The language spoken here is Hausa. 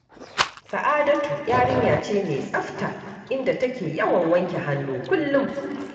Sa’adatu yarinya ce mai tsafta, inda take yawan wanke hannu kullum